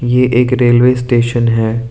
ये एक railway station है।